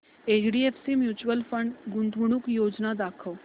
HDFC mutual fund गुंतवणूक योजना दाखव